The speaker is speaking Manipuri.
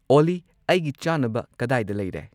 ꯑꯣꯂꯤ ꯑꯩꯒꯤ ꯆꯥꯅꯕ ꯀꯗꯥꯏꯗ ꯂꯩꯔꯦ